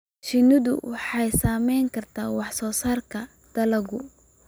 Shinnidu waxay saameyn kartaa wax soo saarka dalagga.